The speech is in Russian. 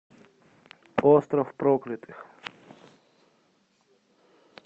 остров проклятых